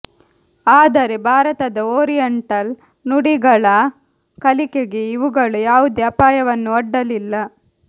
ಆದರೆ ಭಾರತದ ಓರಿಯೆಂಟಲ್ ನುಡಿಗಳ ಕಲಿಕೆಗೆ ಇವುಗಳು ಯಾವುದೇ ಅಪಾಯವನ್ನು ಒಡ್ಡಲಿಲ್ಲ